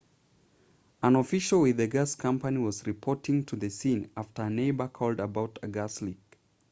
an official with the gas company was reporting to the scene after a neighbor called about a gas leak